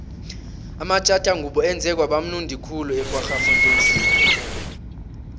amatjathangubo enze kwaba mnundi khulu ekwaggafontein stadium